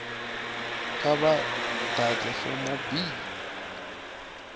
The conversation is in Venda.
kha vha ḓadze form b